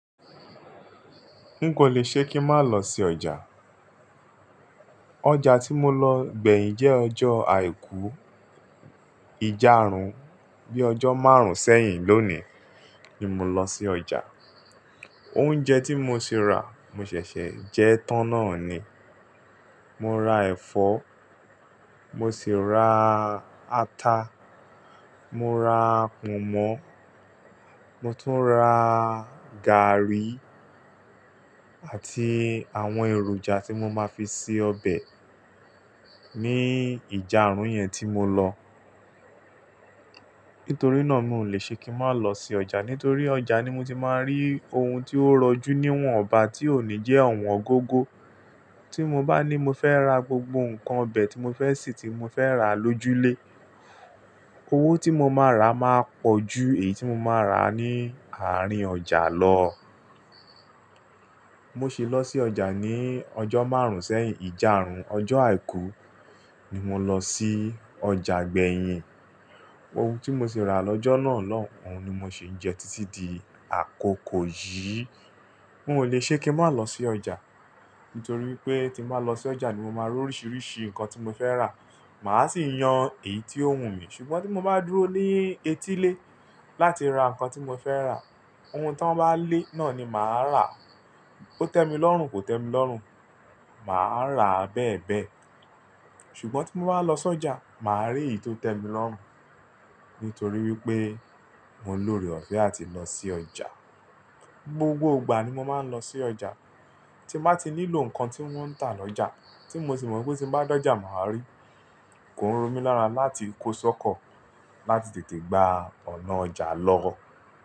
Nkò lè ṣe kí má lọ sí ọjà. Ọjà tí mo lọ gbẹ̀yìn jẹ́ ọjọ́ àìkú ìjárún. Bíi ọjọ́ márùn-ún sẹ́yìn lónìí ni mo lọ sí ọjà. Oúnjẹ tí mo sì rà mo ṣẹ̀ṣẹ̀ jẹ́ tán náà ni. Mo ra ẹ̀fọ́, mo sì ra ata, mo ra pọ̀nmọ́, mo tún ra gààrí àti àwọn èròjà tí mo máa fi sè ọbẹ̀ nií ìjárún yẹn tí mo lọ. Nítorí náà mi ò lè ṣe kí má lọ sí ọjà nítorí ọjà ni mo ti má tí rí ohun tí ó rọjú ní wọ́nbá tí ó ní jẹ́ ọ̀wọ́n góngó. Tí mo bá ní mo fẹ́ ra gbogbo nǹkan ọbẹ̀ tí mo fẹ́ sè tí mo fẹ́ rà lójú lé, owó tí mo máa rà máa pọ̀ ju èyí tí mo máa rà ní àárín ọjà lọ. Mo ṣe lọ sí ọjà ní ọjọ́ márùn-ún sẹ́yìn ìjánrún. Ọjọ́ àìkú ni mo lọ sí ọjà gbẹ̀yìn. Ohun tí mo sì rà lọ́jọ́ náà lóun ni mo sì ń jẹ títí di àkókò yìí. N ò le ṣe kí n má lọ sí ọjà, nítorí pé tí mo bá lọ sí ọjà ni mo máa rí oríṣiríṣi nǹkan tí mo fẹ́ rà, màá sì yan èyí tí ó wùn mí. Ṣùgbọ́n tí mo bá dúró ní etílé láti ra nǹkan tí mo fẹ́ rà, ohun tí wọ́n bá lé náà ni màá rà. Ó tẹ́ mi lọ́rùn, kò tẹ́ mi lọ́rùn, màá rà bẹ́ẹ̀ bẹ́ẹ̀. Ṣùgbọ́n tí mo bá lọ sí ọjà, màá rí èyí tó tẹ́ mi lọ́rùn, nítorí wípé mò lóre ọ̀fẹ́ àti lọ sí ọjà. Gbogbo ìgbà ni mo máa ń lọ sí ọjà. Tí mo bá ti nílò nǹkan tí wọ́n ń tà lọ́jà, tí mo sì mọ̀ wípé tí n bá dọjà màá rí, kò ń rọ̀ mí lára láti kó sọ́kọ̀ láti tètè gba ọ̀nà ọjà lọ́rọ̀.